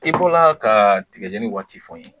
I bɔra ka tigajeni waati fɔ n ye